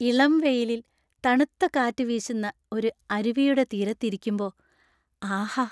ഇളം വെയിലിൽ തണുത്ത കാറ്റു വീശുന്ന ഒരു അരുവിയുടെ തീരത്ത് ഇരിക്കുമ്പോ, ആഹാ!